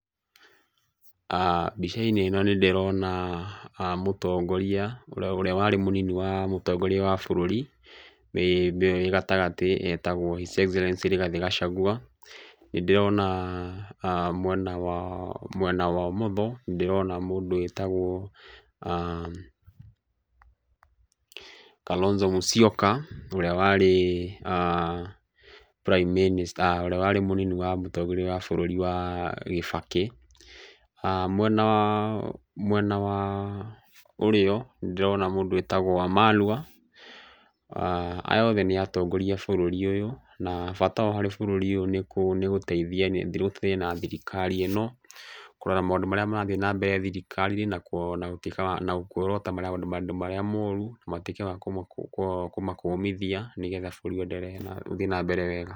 Mbica-inĩ ĩno nĩ ndĩrona, mũtongoria ũrĩa warĩ mũnini wa mũtongoria wa bũrũri nĩwe wĩ gatagatĩ etagwo His Excellency Rigathi Gachagua. Nĩ ndĩrona mwena wa mwena wa ũmotho nĩ ndĩrona mũndũ wĩtagwo, Kalonzo Musyoka ũrĩa warĩ mũnini wa mũtongoria wa bũrũri Kibaki. Mwena wa Mwena wa ũrĩo, nĩ ndĩrona mũndũ wĩtagwo Wamalwa. Aya othe nĩ atongoria a bũrũri ũyũ na bata wao harĩ bũrũri ũyũ nĩ gũteithia thirikari ĩno, kũrora maũndũ marĩa marathiĩ na mbere thirikari-inĩ ĩno na kuorota maũndũ marĩa moru matuĩke a kũmakũmithia nĩgetha bũrũri ũenderee na, ũthiĩ na mbere wega.